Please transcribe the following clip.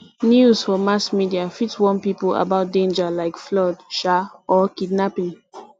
news for mass media fit warn people about danger like flood um or kidnapping